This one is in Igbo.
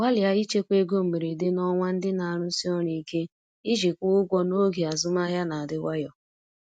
Gbalịa ichekwa ego mberede n’ọnwa ndị na-arụsi ọrụ ike iji kwụọ ụgwọ n’oge azụmahịa na-adị nwayọ.